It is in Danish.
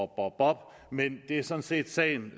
bop bop men det er sådan set sagen